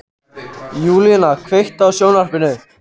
Júlína, kveiktu á sjónvarpinu.